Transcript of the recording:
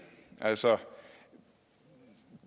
altså